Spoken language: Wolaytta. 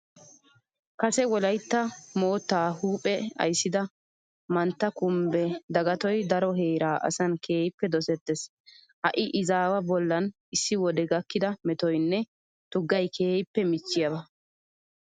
Kase wolaytta moottaa huuphe ayssida mantta kumbbe dagatoy daro heeraa asan keehippe dosettees. Ha izaawaa bollan issi wode gakkida metoynne tuggay keehippe michchiyaba.